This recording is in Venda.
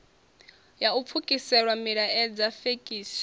ya u pfukisela milaedza fekisi